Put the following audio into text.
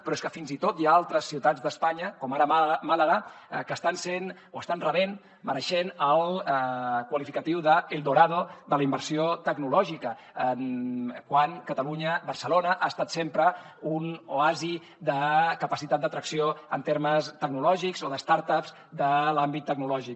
però és que fins i tot hi ha altres ciutats d’espanya com ara màlaga que estan sent o estan rebent mereixent el qualificatiu de el dorado de la inversió tecnològica quan catalunya barcelona ha estat sempre un oasi de capacitat d’atracció en termes tecnològics o de start upsgic